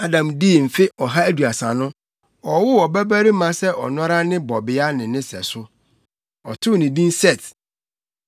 Adam dii mfe ɔha aduasa no, ɔwoo ɔbabarima sɛ ɔno ara ne bɔbea ne ne sɛso. Ɔtoo ne din Set.